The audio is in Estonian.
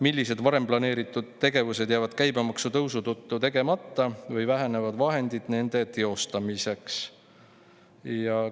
Millised varem planeeritud tegevused jäävad käibemaksu tõusu tõttu tegemata või milliste puhul vähenevad vahendid nende teostamiseks?